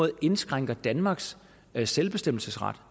indskrænker danmarks selvbestemmelsesret